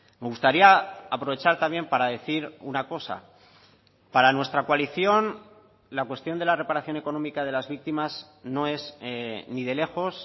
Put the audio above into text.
me gustaría aprovechar también para decir una cosa para nuestra coalición la cuestión de la reparación económica de las víctimas no es ni de lejos